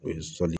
O ye sɔni